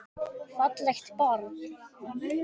Fallegt barn.